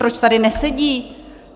Proč tady nesedí?